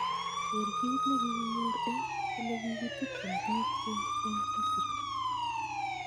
Ker kit nekikinyor eng elekikitubchim bik keny eng Misiri.